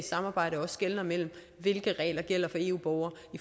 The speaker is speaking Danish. samarbejde også skelner mellem hvilke regler der gælder for eu borgere